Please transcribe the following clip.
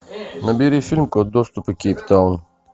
набери фильм код доступа кейптаун